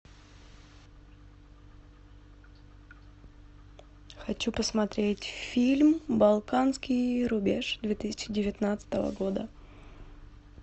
хочу посмотреть фильм балканский рубеж две тысячи девятнадцатого года